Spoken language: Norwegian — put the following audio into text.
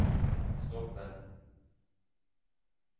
stoppe